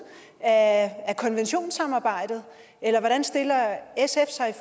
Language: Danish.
af konventionssamarbejdet eller hvordan stiller sf sig